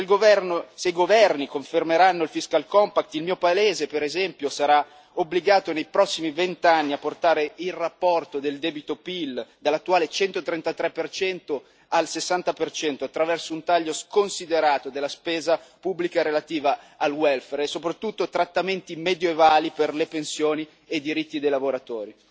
Se i governi confermeranno il fiscal compact il mio paese per esempio, sarà obbligato per i prossimi vent'anni a portare il rapporto del debito PIL dall'attuale 133 al 60 attraverso un taglio sconsiderato della spesa pubblica relativa al welfare, e soprattutto, trattamenti medievali per le pensioni e i diritti dei lavoratori.